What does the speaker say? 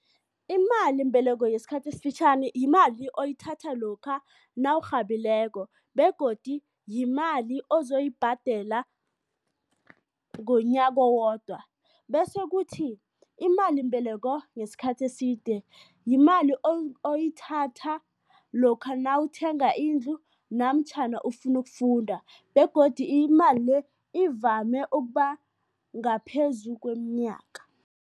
Imalimbeleko yesikhathi esifitjhani yimali oyithatha lokha nawurhabileko begodi yimali ozoyibhadela ngonyaka owodwa bese kuthi imalimbeleko yesikhathi eside, yimali oyithatha lokha nawuthenga indlu namtjhana ufuna ukufunda begodu imali le ivame ukuba ngaphezu kweminyaka.